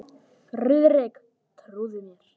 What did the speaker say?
Friðrik trúði mér.